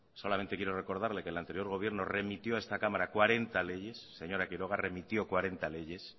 solamente quiero recordarle que el anterior gobierno remitió a esta cámara cuarenta leyes señora quiroga remitió cuarenta leyes